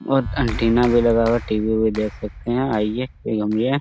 बहुत एंटीना भी लगा हुआ है टी.वी. इवी भी देख सकते है आइए --